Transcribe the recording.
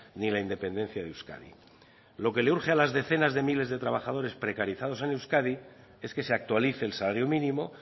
ni la independencia de euskadi lo que le urge a la decenas de miles de trabajadores precarizados en euskadi es que se actualice el salario mínimo